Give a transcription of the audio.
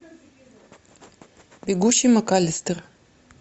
бегущий макаллистер